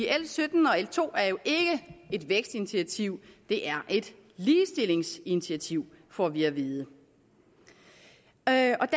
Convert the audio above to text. l sytten og l to er jo ikke et vækstinitiativ det er et ligestillingsinitiativ får vi at vide der